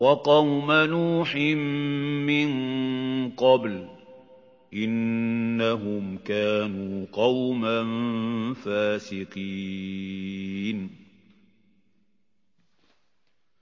وَقَوْمَ نُوحٍ مِّن قَبْلُ ۖ إِنَّهُمْ كَانُوا قَوْمًا فَاسِقِينَ